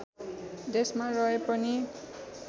देशमा रहे पनि